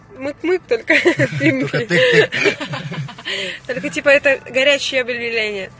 мы только типа это горячее